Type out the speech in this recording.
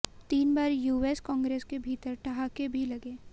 तीन बार US Congress के भीतर ठहाके भी लगे